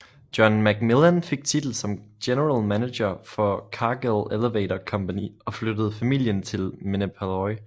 John MacMillan fik titel som general manager for Cargill Elevator Company og flyttede familien til Minneapolis